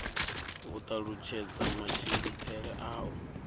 u talutshedza matshimbidzele a u